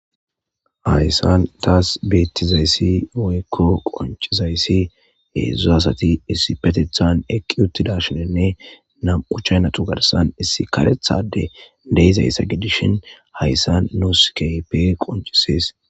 Hayssan tas betizaysi woyko qonc'izaysi hezhu asati eqi uttidaysinne nam'u chaynata garsan issi karetha adey dezizaysa gidishin haysa nus keehippe qonc'isses.